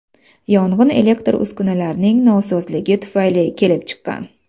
Yong‘in elektr uskunalarning nosozligi tufayli kelib chiqqan.